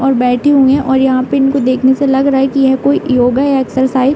और बैठी हुई हैं और यहाँ पे इनको देखने से लग रहा है कि यह कोई योगा या एक्सरसाइज --